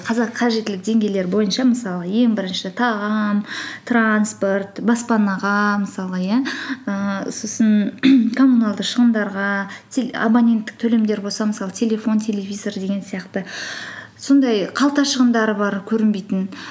қазір қажеттілік деңгейлері бойынша мысалы ең бірінші тағам транспорт баспанаға мысалы иә ііі сосын коммуналды шығындарға абоненттік төлемдер болса мысалы телефон телевизор деген сияқты сондай қалта шығындары бар көрінбейтін